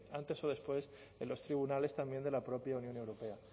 antes o después en los tribunales también de la propia unión europea